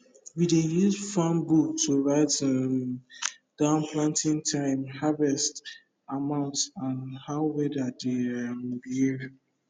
we dey use farm book to write um down planting time harvest amount and how weather dey um behave